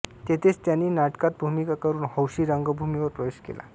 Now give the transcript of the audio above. तेथेच त्यांनी नाटकात भूमिका करून हौशी रंगभूमीवर प्रवेश केला